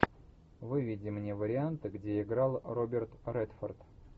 выведи мне варианты где играл роберт редфорд